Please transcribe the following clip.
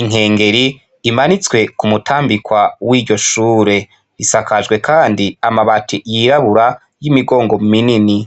Inkengeri imanitswe k'umutambikwa w'iryo shure. Isakajwe kandi amabati yirabura y'imigongo minini.